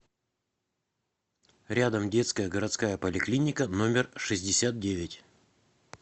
рядом детская городская поликлиника номер шестьдесят девять